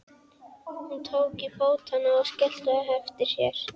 Hún tók til fótanna og skellti á eftir sér.